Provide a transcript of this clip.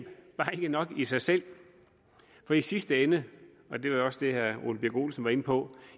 nok i sig selv for i sidste ende og det var jo også det herre ole birk olesen var inde på